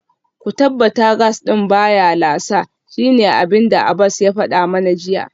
Ku tabbata gas din baya lasa, shine abinda Abbas ya fada mana jiya